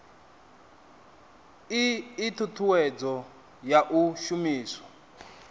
ii thuthuwedzo ya u shumiswa